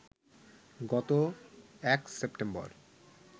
গত ১ সেপ্টেম্বর